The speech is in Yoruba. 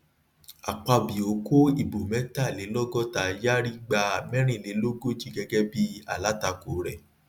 akpabio kó ìbò mẹta lé lọgọta yari gba mẹrìnlélógójì gẹgẹ bíi alátakò rẹ